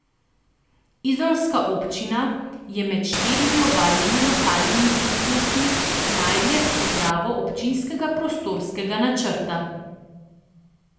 Izolska občina je med štirimi obalnimi lokalnimi skupnostmi najdlje s pripravo občinskega prostorskega načrta.